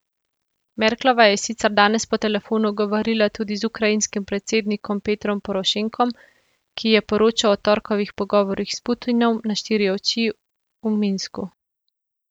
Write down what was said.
Merklova je sicer danes po telefonu govorila tudi z ukrajinskim predsednikom Petrom Porošenkom, ki ji je poročal o torkovih pogovorih s Putinom na štiri oči v Minsku.